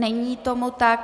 Není tomu tak.